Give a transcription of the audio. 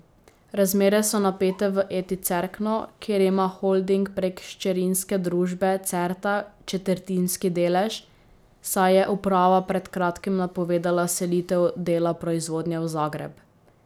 Razmere so napete v Eti Cerkno, kjer ima holding prek hčerinske družbe Certa četrtinski delež, saj je uprava pred kratkim napovedala selitev dela proizvodnje v Zagreb.